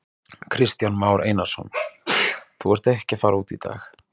Kristján Már Einarsson: Þú ert ekki að fara út í dag?